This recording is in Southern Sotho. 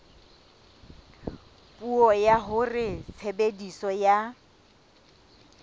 puo ya hore tshebediso ya